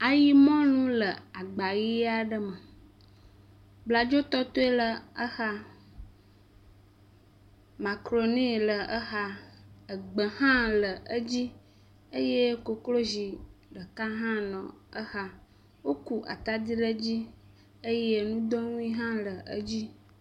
Ayimɔlu le agba ʋi aɖe me. Bladzotɔtɔe le exa, makaɖoni le exa, egbe hã le edzi eye koklozi ɖeka hã nɔ exa. Woku atadi ɖe edzi eye ŋudonui hã le edzi.